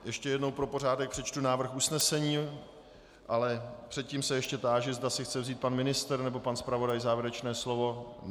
Ještě jednou pro pořádek přečtu návrh usnesení, ale předtím se ještě táži, zda si chce vzít pan ministr nebo pan zpravodaj závěrečné slovo.